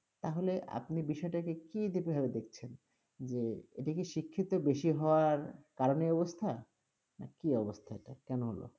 তাহলে আপনি এই বিষয়টাকে কি দেখছেন, যে এটা কি শিক্ষিত বেশি হওয়ার কারণে এই অবস্থা না কি অবস্থা এটা, কেন হল?